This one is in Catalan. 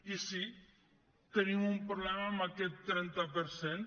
i sí tenim un problema amb aquest trenta per cent